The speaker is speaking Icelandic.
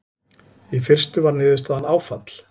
Í fyrstu var niðurstaðan áfall.